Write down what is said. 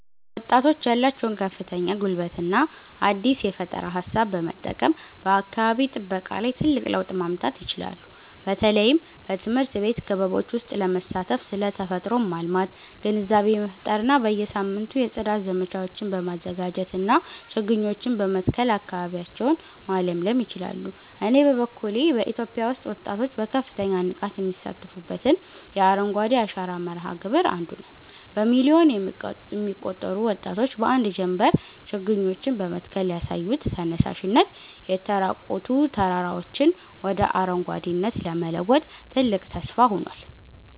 ወጣቶች ያላቸውን ከፍተኛ ጉልበትና አዲስ የፈጠራ ሃሳብ በመጠቀም በአካባቢ ጥበቃ ላይ ትልቅ ለውጥ ማምጣት ይችላሉ። በተለይም በትምህርት ቤት ክበቦች ውስጥ በመሳተፍ ስለ ተፈጥሮን ማልማት ግንዛቤ መፍጠር እና በየሳምንቱ የጽዳት ዘመቻዎችን በማዘጋጀትና ችግኞችን በመትከል አካባቢያቸውን ማለምለል ይችላሉ። እኔ በበኩሌ በኢትዮጵያ ውስጥ ወጣቶች በከፍተኛ ንቃት የሚሳተፉበትን የአረንጓዴ አሻራ መርሃ ግብር 1ዱ ነዉ። በሚሊዮን የሚቆጠሩ ወጣቶች በአንድ ጀምበር ችግኞችን በመትከል ያሳዩት ተነሳሽነት፣ የተራቆቱ ተራራዎችን ወደ አረንጓዴነት ለመለወጥ ትልቅ ተስፋ ሆኗል።